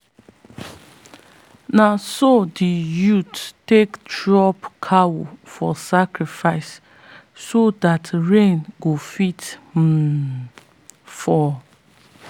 naso the youths take drop cow for sacrifice so dat rain go fit um fall.